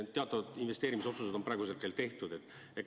Teatavad investeerimisotsused on praeguseks tehtud.